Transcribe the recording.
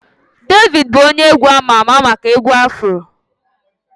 Davido bụ onye egwu ama ama maka egwu Afro